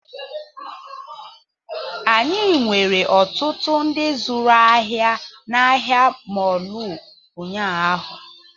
Anyị nwere ọtụtụ ndị zụrụ ahịa na ahịa mọọlụ ụnyaahụ